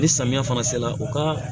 Ni samiya fana sera u ka